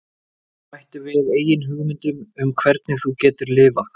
Bættu við eigin hugmyndum um hvernig þú getur LIFAÐ